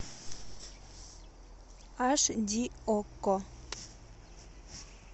аш ди окко